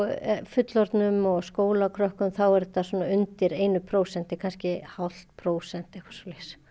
fullorðnum og skólakrökkum þá er þetta undir einu prósenti kannski hálft prósent eitthvað svoleiðis